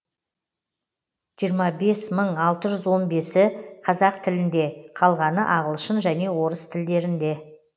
жиырма бес мың алты жүз он бесі қазақ тілінде қалғаны ағылшын және орыс тілдерінде